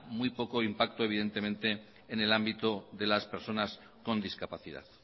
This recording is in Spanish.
muy poco impacto en el ámbito de las personas con discapacidad